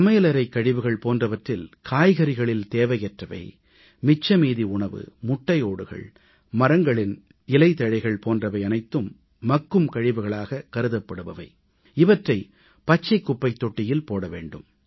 சமையலறைக் கழிவுகள் போன்றவற்றில் காய்கறிகளில் தேவையற்றவை மிச்சமீதி உணவு முட்டையோடுகள் மரங்களின் இலைதழைகள் போன்றவை அனைத்தும் மக்கும் கழிவுகள் இவற்றை பச்சைக் குப்பைத் தொட்டியில் போட வேண்டும்